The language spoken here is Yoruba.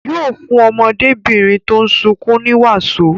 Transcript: Yóò fún ọmọdébìnrin tó ń sunkún ní wàsó.